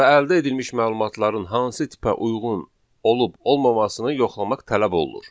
və əldə edilmiş məlumatların hansı tipə uyğun olub-olalmamasını yoxlamaq tələb olunur.